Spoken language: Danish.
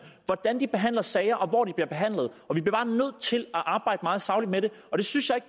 hvordan de behandler sager og hvor de bliver nødt til at arbejde meget sagligt med det og det synes